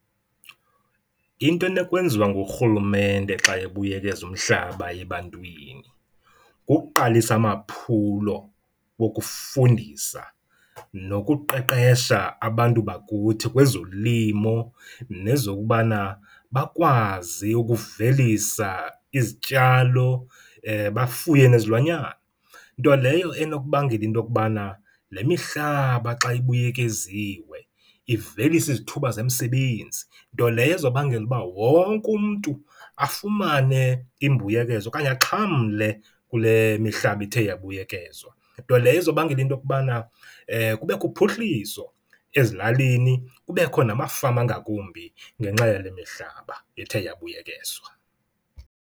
Into enokwenziwa ngurhulumente xa ebuyekeza umhlaba ebantwini kukuqalisa amaphulo wokufundisa nokuqeqesha abantu bakuthi kwezolimo nezokubana bakwazi ukuvelisa izityalo, bafuye nezilwanyana. Nto leyo enokubangela into okubana le mihlaba xa ibuyekeziwe ivelise izithuba zemisebenzi, nto leyo ezobangela uba wonke umntu afumane imbuyekezo okanye axhamle kule mihlaba ithe yabuyekezwa. Nto leyo ezobangela intokubana kubekho uphuhliso ezilalini kubekho namafama angakumbi ngenxa yale mihlaba ethe yabuyekezwa.